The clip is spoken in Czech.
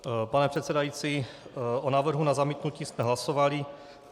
Pane předsedající, o návrhu na zamítnutí jsme hlasovali.